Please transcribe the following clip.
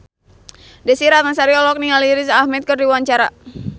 Desy Ratnasari olohok ningali Riz Ahmed keur diwawancara